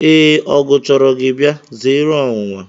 Ee, ọgụ chọrọ gị bịa, zeere ọnwụnwa.